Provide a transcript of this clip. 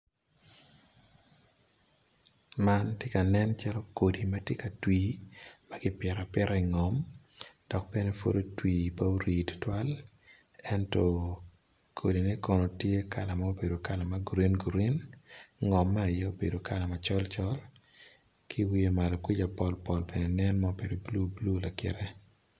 Man tye ka nen macalo kodi matye ka twi maki pito apita i ngom dok bene pud otwi pe ori tutwal ento kodi ne kono tye kala ma obedo kala ma gurin gurin ngom aye obedo kala macol col ki wiye malo kuca pol pol bene nen ma obedo blue blue lakite.